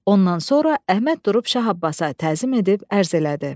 Ondan sonra Əhməd durub Şah Abbasa təzim edib ərz elədi: